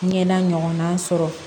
Ɲɛda ɲɔgɔnna sɔrɔ